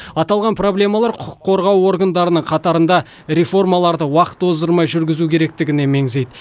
аталған проблемалар құқық қорғау органдарының қатарында реформаларды уақыт оздырмай жүргізу керектігіне меңзейді